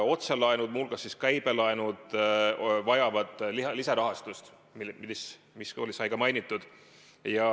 Otselaenud, muu hulgas käibelaenud vajavad lisarahastust, mida sai ka mainitud.